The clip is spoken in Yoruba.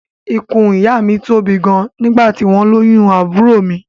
Ikùn ìyá mi tóbi gan nígbà tí wọ́n lóyún àbúrò mi